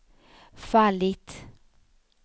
fallit